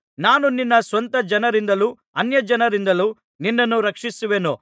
ನಾನು ನಿನ್ನ ಸ್ವಂತ ಜನರಿಂದಲೂ ಅನ್ಯಜನರಿಂದಲೂ ನಿನ್ನನ್ನು ರಕ್ಷಿಸುವೆನು